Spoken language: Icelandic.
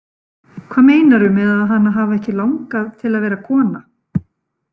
Hvað meinarðu með að hana hafi ekki langað til að vera kona?